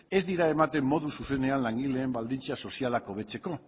ez dira ematen zuzenean langileen baldintza sozialak hobetzeko